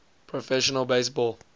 professional base ball